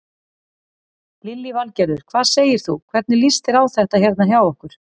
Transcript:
Lillý Valgerður: Hvað segir þú, hvernig líst þér á þetta hérna hjá okkur?